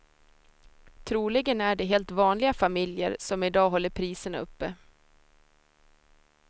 Troligen är det helt vanliga familjer som i dag håller priserna uppe.